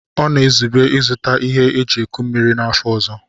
Ọ na-ezube ịzụta ihe eji eku mmiri n'afọ ọzọ.